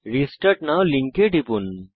restart now লিঙ্কে টিপুন